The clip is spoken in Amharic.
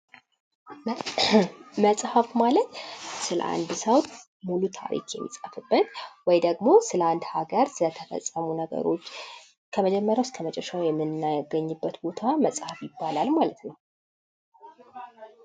መጽሃፍ ማለት ስለ አንድ ሰው ሙሉ ታሪክ የሚጻፍበት ወይም ደግሞ አንድ ሀገር ስለተፈጸመ ነገሮች ከመጀመሪያው እስከ መጨረሻው የምናገኝበት ቦት መጽሃፍ ይባላል።